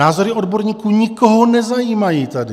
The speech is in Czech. Názory odborníků nikoho nezajímají tady.